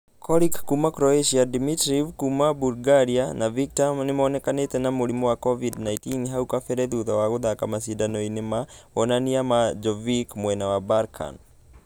Coric kuuma croqtia, Dimitriv kuuma bulgaria, na viktor nĩmũnĩkqnĩte na mũrimũ wa covid-19 hau kabere thutha wa gũthaka mashidano-inĩ ma wonanio ma Djokovic mwena wa balkan.